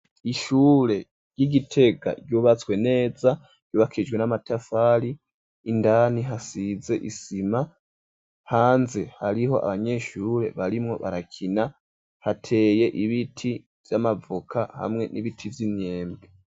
Ishure ry'Igitega ryubatswe neza ryubakishijwe n'amatafari, indani hasize isima, hanze hariho abanyeshure barimwo barakina, hateye ibiti vy'amavoka hamwe n'ibiti vy'inyembe.